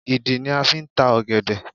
Ìdí ni a fi ń ta ọ̀gẹ̀dẹ̀